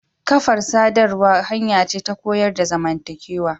Kafar sadarwa hanya ce ta koyar da zamantakewa.